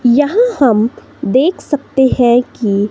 यहां हम देख सकते हैं कि--